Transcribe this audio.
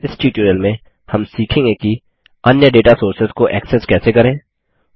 इस ट्यूटोरियल में हम सीखेंगे किः अन्य दाता सोर्सेस डेटा सोर्सेस को एक्सेस कैसे करें